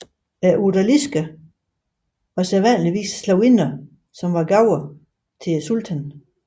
Odalisker var sædvanligvis slavinder som var gaver til sultanen